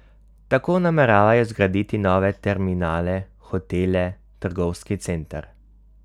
Tako nameravajo zgraditi nove terminale, hotele, trgovski center.